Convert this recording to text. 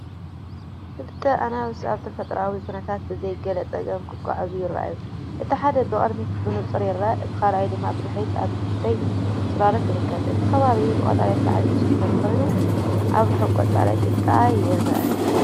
ክልተ ኣናብስ ኣብ ተፈጥሮኣዊ ኵነታት ብዘይ ገለ ጸገም ክጓዓዙ ይረኣዩ። እቲ ሓደ ብቕድሚት ብንጹር ይርአ፣ እቲ ካልኣይ ድማ ብድሕሪት ኣብ ንእሽቶ ጽላሎት ይርከብ። እቲ ከባቢ ብቀጠልያ ሳዕሪ ዝተሸፈነ ኮይኑ፡ ኣብ ርሑቕ ቆጽሊ ጫካ ይርአ።